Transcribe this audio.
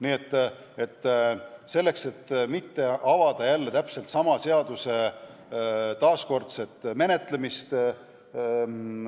Nii et selleks, et mitte algatada jälle täpselt sama seaduse taaskordset menetlemist ...